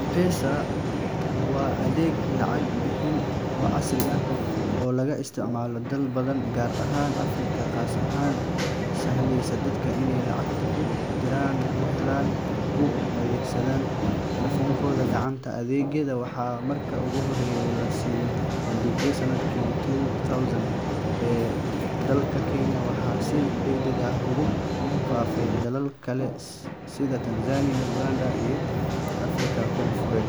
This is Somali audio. M-Pesa waa adeeg lacag-bixin oo casri ah oo laga isticmaalo dalal badan, gaar ahaan Afrika, kaas oo u sahlaya dadka inay lacag ku diraan, ku helaan, kuna kaydsadaan taleefankooda gacanta. Adeegan waxaa markii ugu horeysay la soo bandhigay sanadkii two thousand ee dalka Kenya, waxaana si degdeg ah ugu faafay dalal kale sida Tanzania, Uganda, iyo Afrika Koonfureed.